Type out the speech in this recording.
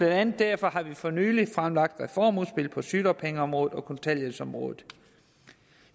andet derfor for nylig fremlagt reformudspil på sygedagpengeområdet og kontanthjælpsområdet